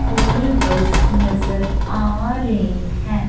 School bus नजर आ रही है।